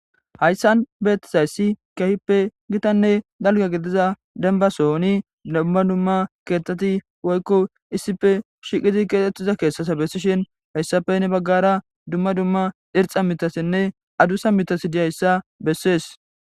hayssan beettizayssi keehippe gitanne dalga gediza denbasoni dumma dumma keethteti woykko issife shiqidi keetettiza keeshsasa bessishin hayssafe ne baggara dumma dumma dirca mitasinne adusa mitasi diyayssa bessees